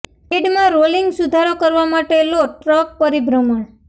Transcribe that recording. bed માં rolling સુધારો કરવા માટે લો ટ્રંક પરિભ્રમણ